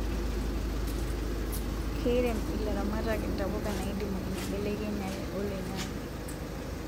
Keirem ilaramatak ntapuka naidimu enkibelekenyere oloingange